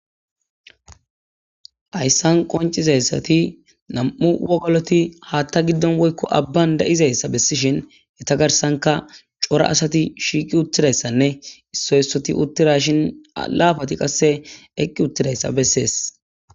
Hayssan qoncizayssati nam'u wogoloti haatta giddon woykko abban da'izayssa bessishin heta garsanka cora asati shiiqi uttidayssanne issoy issoti uttira shin laafati qasse eqqi uttidayssa bessees.